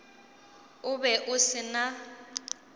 o be o se na